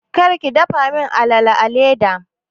Kar ki dafa min alala a leda!